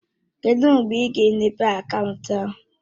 Kedụ mgbe ị ga-emepe akaụntụ ahụ?